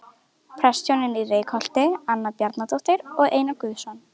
Prestshjónin í Reykholti- Anna Bjarnadóttir og Einar Guðnason.